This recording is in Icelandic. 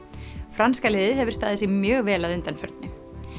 franska liðið hefur staðið sig mjög vel að undanförnu